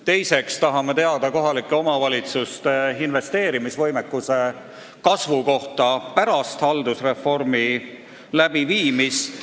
Teiseks tahame teada kohalike omavalitsuste investeerimisvõimekuse kasvu kohta pärast haldusreformi läbiviimist.